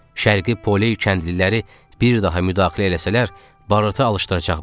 Şərqi Pole kəndliləri bir daha müdaxilə eləsələr, barıtı alışdıracaqmış.